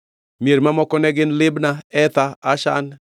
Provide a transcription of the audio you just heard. Mier mamoko ne gin: Libna, Ether, Ashan,